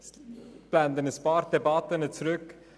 Ich blende einige Debatten zurück.